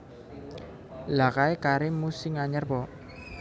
Lha kae kharim mu sing anyar pok